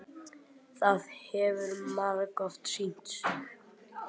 Það hefur margoft sýnt sig.